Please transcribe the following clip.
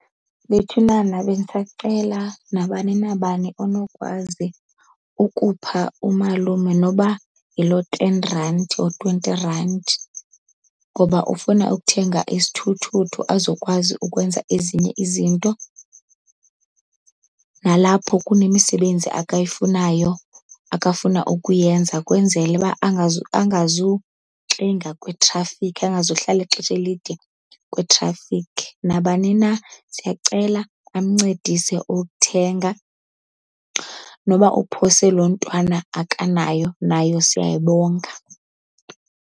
Bethunana bendisacela nabani nabani onokwazi ukupha umalume noba yiloo ten rand or twenty rand, ngoba ufuna ukuthenga isithuthuthu azokwazi ukwenza ezinye izinto. Nalapho kunemisebenzi akayifunayo, akafuna ukuyenza kwenzele uba akazuxinga kwitrafikhi, engazuhlala ixesha elide kwitrafikhi. Nabani na siyacela amncedise uthenga, noba uphose loo ntwana akanayo nayo siyayibonga.